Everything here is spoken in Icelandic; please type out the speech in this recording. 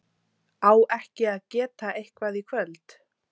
á ekki að geta eitthvað í kvöld?